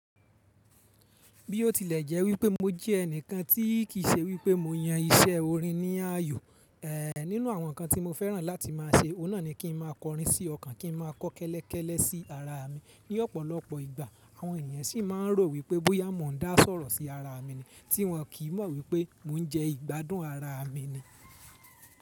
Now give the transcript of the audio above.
Bí ó tilẹ̀ jẹ́ wípé mo jẹ́ ẹnìkan tí kì í ṣe wípé mo yan iṣẹ́ orin ní ayọ̀, eh nínú àwọn ǹkan tí mo fẹ́ràn láti má a ṣe, óun náà ni kí n má a kọrin sí ọkàn, kí n má a kọ́kẹ́lẹ́kẹ́lẹ́ sí ara mi ní ọ̀pọ̀lọpọ̀ ìgbà. Àwọn ènìyàn sì má a ń rò wípé bóyá mo ń dá sọ̀rọ̀ sí ara mi ni, tí wọn kì í mọ̀ wípé mò ń jẹ́ ìgbádùn ara mi ni.